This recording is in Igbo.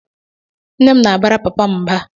Nne m na-abara papa m mba.